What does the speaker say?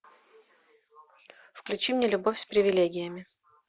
включи мне любовь с привилегиями